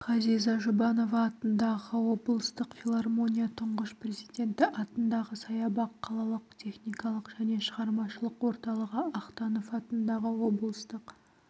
ғазиза жұбанова атындағы облыстық филармония тұңғыш президенті атындағы саябақ қалалық техникалық және шығармашылық орталығы ахтанов атындағы облыстық